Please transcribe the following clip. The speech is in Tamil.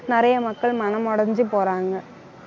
நிறைய மக்கள் மனமுடைஞ்சு போறாங்க